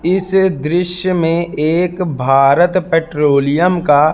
इस दृश्य में एक भारत पेट्रोलियम का--